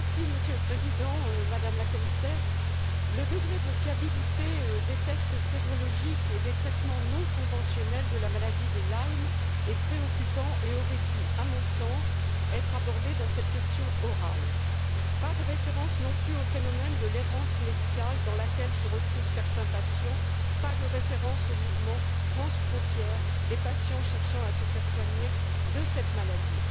Monsieur le Président, Madame la Commissaire, le degré de fiabilité des tests sérologiques et des traitements non conventionnels de la maladie de Lyme est préoccupant et aurait dû, à mon sens, être abordé dans cette question orale. Je relève également l'absence de références au phénomène de l'errance médicale dans laquelle se retrouvent certains patients, ainsi qu'aux mouvements transfrontières des patients cherchant à se faire soigner de cette maladie.